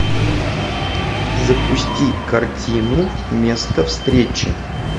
запусти картину место встречи